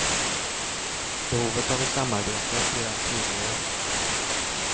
Behovet av ett samarbete blir allt tydligare.